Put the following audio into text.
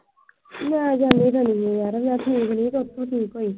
ਮੈਂ ਜਾਂਦੀ ਈ ਜਾਂਦੀ ਆ ਯਾਰ। ਮੈਂ ਠੀਕ ਨੀ। ਜਦੋਂ ਤੋਂ ਠੀਕ ਹੋਈ।